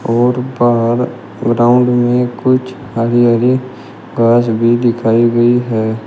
और बाहर ग्राउंड में कुछ हरी हरी घास भी दिखाई गई है।